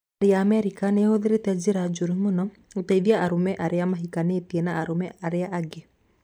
Thirikari ya Amerika nĩ ĩhũthĩrĩte njĩra njũru mũno gũteithia arũme arĩa mahikanĩtie na arũme arĩa angĩ